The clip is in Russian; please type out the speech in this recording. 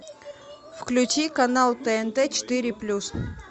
включи канал тнт четыре плюс